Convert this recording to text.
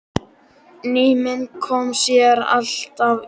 Ný mynd kom síðan alltaf í ljós.